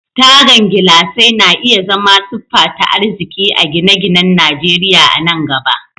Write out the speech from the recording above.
Tagan gilasai na iya zama siffa ta arziki a gine-ginen Najeriya a nan gaba.